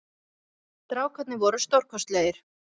Strákarnir voru stórkostlegir